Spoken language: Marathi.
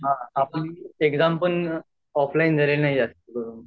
हा आपन एग्जाम पण ऑफलाइन झालेली नाही जास्त करूँन